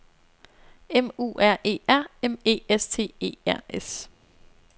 M U R E R M E S T E R S